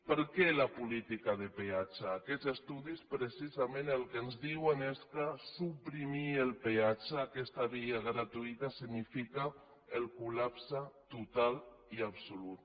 per què la política de peatge aquests estudis precisament el que ens diuen és que suprimir el peatge aquesta via gratuïta significa el col·lapse total i absolut